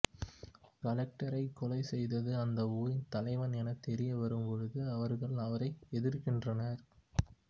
கலெக்டரை கொலை செய்தது அந்த ஊரின் தலைவன் என தெரிய வரும் பொழுது அவர்கள் அவரை எதிர்கின்றனர்